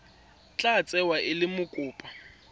tla tsewa e le mokopa